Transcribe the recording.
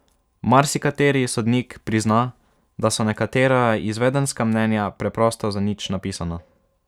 Marsikateri sodnik prizna, da so nekatera izvedenska mnenja preprosto zanič napisana.